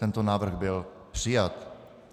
Tento návrh byl přijat.